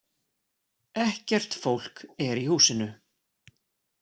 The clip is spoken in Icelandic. Ekkert fólk er í húsinu